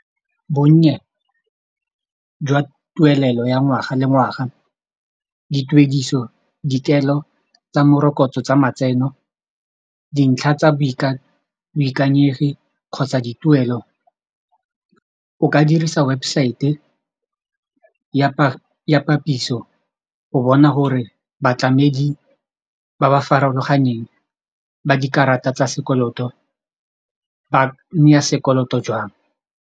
Bonnye jwa tuelelo ya ngwaga le ngwaga dituediso dikelo tsa morokotso tsa matseno dintlha tsa boikanyegi kgotsa dituelo o ka dirisa website ya go bona gore batlamedi ba ba farologaneng ba dikarata tsa sekoloto ba naya sekoloto jwang.